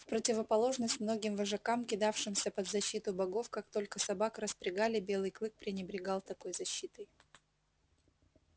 в противоположность многим вожакам кидавшимся под защиту богов как только собак распрягали белый клык пренебрегал такой защитой